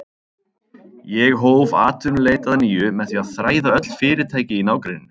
Ég hóf atvinnuleit að nýju með því að þræða öll fyrirtæki í nágrenninu.